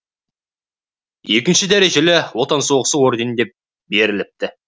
екінші дәрежелі отан соғысы ордені деп беріліпті